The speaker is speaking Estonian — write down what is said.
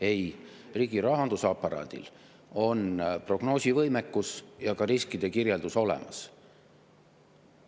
Ei, riigirahanduse aparaadil on prognoosivõimekus ja ka riskide kirjeldus olemas.